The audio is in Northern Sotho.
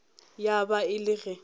ya ba e le ge